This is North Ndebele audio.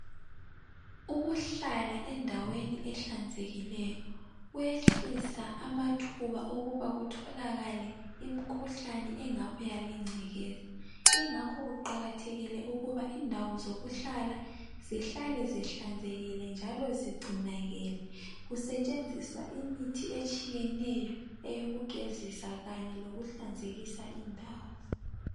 Ukuhlala endaweni ehlanzekileyo kuyehlisa amathuba okuba kutholakale imikhuhlane engabuya lengcekeza. Ingakho kuqakathekile ukuba indawo zokuhlala zihlale zihlanzekile njalo zigcinakele kusetshenziswa imithi etshiyeneyo eyokugezisa kanye lokuhlanzekisa indawo.